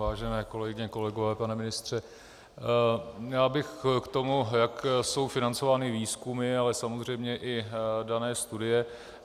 Vážené kolegyně, kolegové, pane ministře, já bych k tomu, jak jsou financovány výzkumy, ale samozřejmě i dané studie.